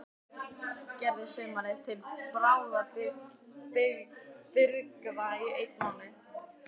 Gerðar um sumarið- til bráðabirgða í einn mánuð.